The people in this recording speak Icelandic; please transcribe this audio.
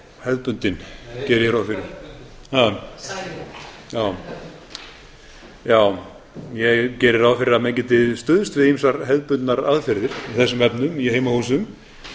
hefðbundin geri ég ráð fyrir já ég geri ráð fyrir að menn geti stuðst við ýmsar hefðbundnar aðgerðir í þessum efnum í heimahúsum